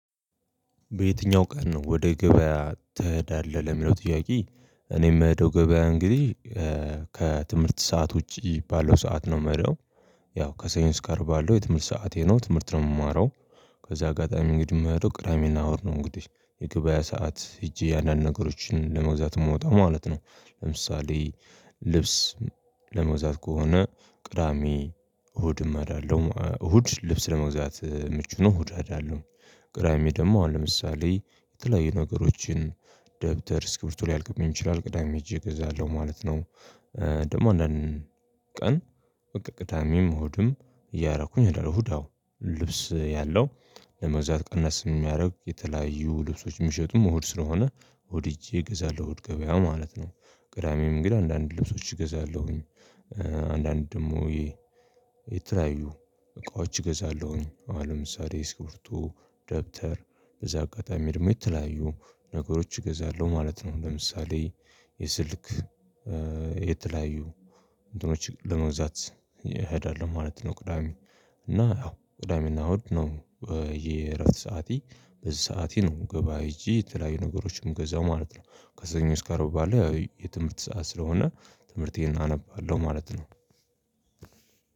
"በየትኛው ቀን ነው ወደ ገበያ ትሄዳለህ?" ለሚለው ጥያቄ እኔ ምሄደው ገበያ እንግዲህ ከትምህርት ሰዓት ውጪ ባለው ሰዓት ነው ምሄደው። ያው ከሰኞ እስከ አርብ ባለው የትምህርት ሰዓቴ ነው፤ ትምህርት ነው የምማረው። በዚህ አጋጣሚ እንግዲህ የምሄደው ቅዳሜና እሁድ ነው እንግዲህ፤ የገበያ ሰዓት ሄጄ አንዳንድ ነገሮችን ለመግዛት የምወጣው ማለት ነው። ለምሳሌ ልብስ ለመግዛት ከሆነ ቅዳሜ እሁድም እሄዳለሁ፣ እሁድ ልብስ ለመግዛት ምቹ ነው እሁድ እሄዳለሁ። ቅዳሜ ደግሞ አሁን ለምሳሌ የተለያዩ ነገሮችን ደብተር ስክብሪቶ ሊያልቅብኝ ይችላል ቅዳሜ ሂጄ እገዛለሁ ማለት ነው። ደግሞ አንዳንድ ቀን በቃ ቅዳሜም እሁድም እያረኩኝ እሄዳለሁ። እሁድ አዎ ልብስ ያለው ለመግዛት ቀነስ የሚያደርግ የተለያዩ ልብሶች የሚሸጡም እሁድ ስለሆነ እሁድ ሂጄ ገዛለሁ እሁድ ገበያ ማለት ነው። ቅዳሜም ግን አንዳንድ ልብሶች እገዛለሁኝ። አንዳንድ ደግሞ የተለያዩ እቃዎች እገዛለሁኝ አሁን ለምሳሌ እስኪቢርቶ ደብተር በዛ አጋጣሚ ደግሞ የተለያዩ ነገሮች እገዛለሁ ማለት ነው። ለምሳሌ የስልክ የተለያዩ እንትኖች ለመግዛት እሄዳለሁ ማለት ነው ቅዳሜ፤ እና ያው ቅዳሜና እሁድ ነው የእረፍት ሰዓቴ በዚህ ሰዓቴ ነው ገበያ ሄጄ የተለያዩ ነገሮችን ምገዛው ማለት ነው። ከሰኞ እስከ አርብ ባለው ያው የትምህርት ሰዓት ስለሆነ ትምህርቴን አነባለሁ ማለት ነው።